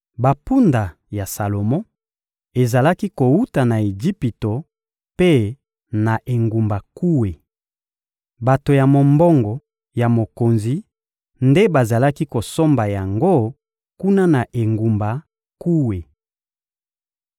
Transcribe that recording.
Bampunda ya Salomo ezalaki kowuta na Ejipito mpe na engumba Kue. Bato ya mombongo ya mokonzi nde bazalaki kosomba yango kuna na engumba Kue.